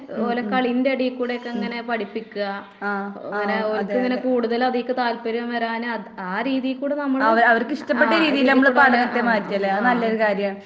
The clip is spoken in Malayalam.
ഉം, ഉം, ഉം. ആഹ്, ആഹ് അതെ അതെ. അവ അവരിക്ക് ഇഷ്ടപ്പെട്ട രീതീല് നമ്മള് പടോക്കെ മാറ്റല്ലെ അത് നല്ലൊരു കാര്യാണ്.